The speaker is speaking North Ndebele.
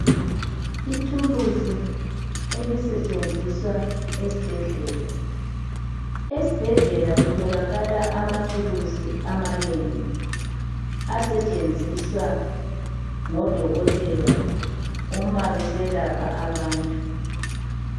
Ithulusi elisetshenziswa esibhedlela. Esibhedlela kutholakala amathulusi amanengi asetshenziswa ngodokotela uma beselapha abantu.